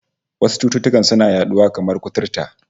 Wasu cututtukan suna yaduwa, kamar kuturta